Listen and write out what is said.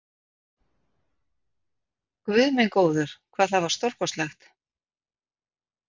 Guð minn góður, hvað það var stórkostlegt!